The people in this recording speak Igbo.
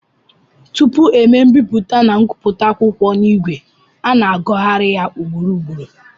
Tupu e mee mbipụta na nkụpụta akwụkwọ n'ìgwè, a na-agụgharị ya ugboro ugboro